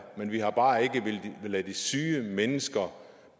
men vi har bare ikke villet lade de syge mennesker